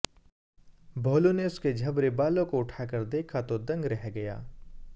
भोलू ने उसके झबरे बालों को उठा कर देखा तो दंग रह गया